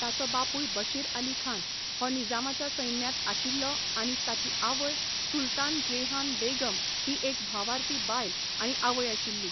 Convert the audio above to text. ताचो बापूय बशीर अलीखान हो निजामाच्या सैन्यांत आशिल्लो आनी ताची आवय सुलतान जेहान बेगम ही एक भावार्थी बायल आनी आवय आशिल्ली.